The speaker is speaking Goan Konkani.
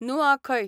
नुआखय